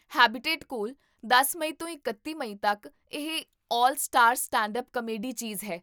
habitat ਕੋਲ ਦਸ ਮਈ ਤੋਂ ਇਕੱਤੀ ਮਈ ਤੱਕ ਇਹ 'ਆਲ ਸਟਾਰ ਸਟੈਂਡਅੱਪ ਕਾਮੇਡੀ' ਚੀਜ਼ ਹੈ